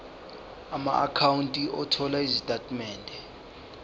amaakhawunti othola izitatimende